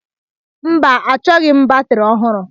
Mba, achọghị m batrị ọhụrụ.